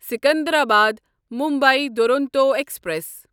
Secunderabad Mumbai Duronto express